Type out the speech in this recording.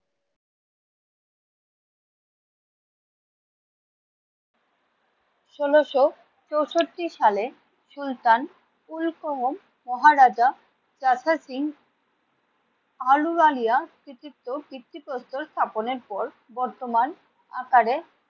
ষোলোশো চৌষট্টি সালে সুলতান মহারাজা যশস্বী সিং আলুওয়ালিয়া কৃতিত্ব ভিত্তিপ্রস্তর স্থাপনের পর বর্তমান আকারে